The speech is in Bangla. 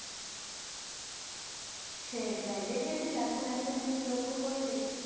সেইটাই, দেখেছিস এখন একটা জিনিস লক্ষ্য করেছিস?